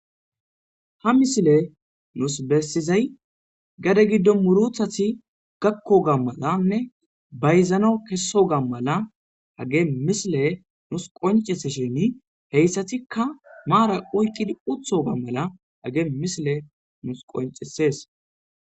ha misile nuus bessizay gade giddo muruthati gakko gammalanne bayzano kesso ga mala hage misile nuus qoncisi shini heyssatikka maara uyqqidi utho ga mala hage misile nuus qoncisees